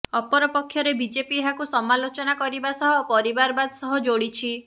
ଅପରକ୍ଷରେ BJP ଏହାକୁ ସମାଲୋଚନା କରିବା ସହ ପରିବାରବାଦ ସହ ଯୋଡିଛି